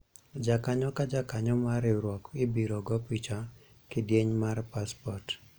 jakanyo ka jakanyo mar riwruok ibiro go picha kidieny mar paspot